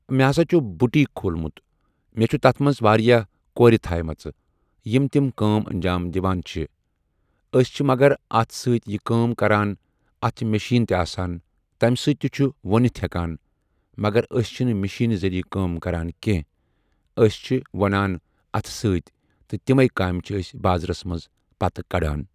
مےٚ ہسا چھُ بُٹیٖک کھولمُت مےٚ چھَ تَتھ منٛز واریاہ کورِ تھایہِ مَژٕ یِم تِم کٲم انجام دِوان چھِ أسۍ چھِ مگر اَتھٕ سۭتی یہِ کٲم کَران اَتھ چھ مِشیٖن تہِ آسان تمہِ سۭتۍ تہِ چھُ ووٗنِتھ ہٮ۪کان مَگر أسۍ چھِنہٕ مِشیٖن ذٔریعہٕ کٲم کَران کینٛہہ أسۍ چھِ وۄنان اَتھٕ سۭتۍ تہٕ تِمٕے کامہِ چھِ أسۍ بازرَس منٛز پَتہٕ کَڈان۔